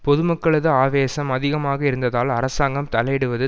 பொதுமக்களது ஆவேசம் அதிகமாக இருந்ததால் அரசாங்கம் தலையிடுவது